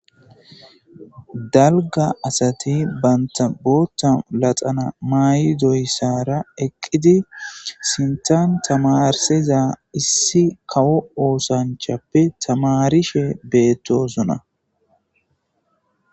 Dalga asati banta bootha laxana mayidaysara eqid sinthan tamarisiza issi kawo osanchappe tamarishe betosona